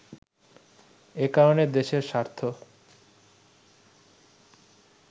এ কারণে দেশের স্বার্থ